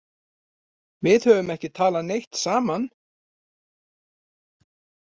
Við höfum ekki talað neitt saman.